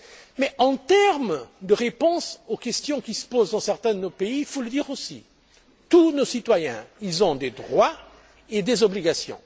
Mais, s'agissant de répondre aux questions qui se posent dans certains de nos pays, il faut le dire aussi, tous nos citoyens ont des droits et des obligations.